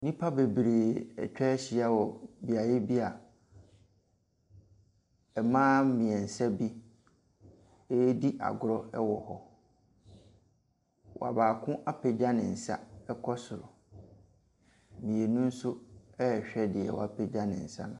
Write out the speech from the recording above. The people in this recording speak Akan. Nnipa bebree atwa ahyia wɔ beaeɛ bi a mmaa mmeɛnsa bi redi agorɔ wɔ hɔ. Ɔbaako apagya ne nsa kɔ soro. Mmienu no nso rehwɛ deɛ wapagya ne nsa no.